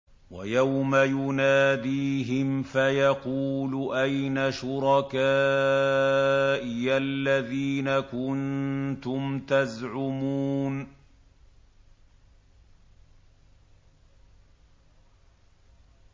وَيَوْمَ يُنَادِيهِمْ فَيَقُولُ أَيْنَ شُرَكَائِيَ الَّذِينَ كُنتُمْ تَزْعُمُونَ